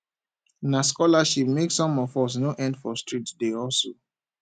na scholarship make some of us no end for street dey hustle